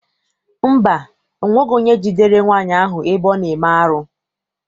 Mba, ọ nweghị onye jidere nwaanyị ahụ ebe ọ na-eme arụ.